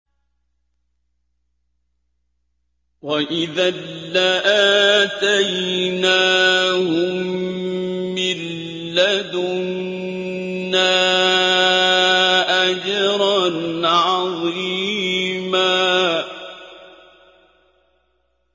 وَإِذًا لَّآتَيْنَاهُم مِّن لَّدُنَّا أَجْرًا عَظِيمًا